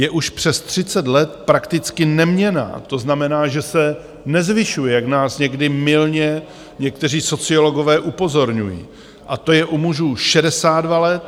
Je už přes 30 let prakticky neměnná, to znamená, že se nezvyšuje, jak nás někdy mylně někteří sociologové upozorňují, a to je u mužů 62 let a u žen 64 let.